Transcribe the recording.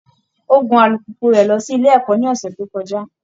Ó gun alùpùpù rẹ̀ lọ sílé ẹ̀kọ́ ní ọ̀sẹ̀ tó kọjá